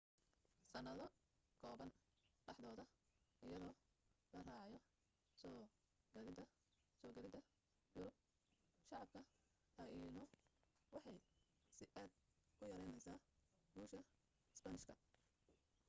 sanado kooban dhexdooda iyadoo la raacayo soo gadhida yurub shacab ka taino waxay si aad u yareynaysaa guusha spanish ka